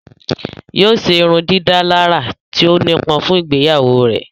Yóò ṣe ìrundidàlarà tí ó nipọn fun ìgbeyawo rẹ.